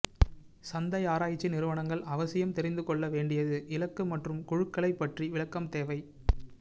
சந்தை ஆராய்ச்சி நிறுவனங்கள் அவசியம் தெரிந்துகொள்ள வேண்டியது இலக்கு மற்றும் குழுக்களை ப்பற்றி விளக்கம் தேவை